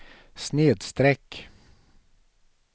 snedsträck